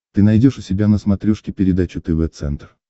ты найдешь у себя на смотрешке передачу тв центр